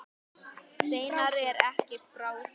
Steinar er ekki frá því.